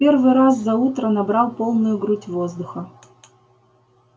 первый раз за утро набрал полную грудь воздуха